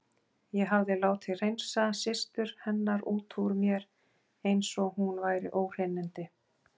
Ég hafði látið hreinsa systur hennar út úr mér eins og hún væri óhreinindi.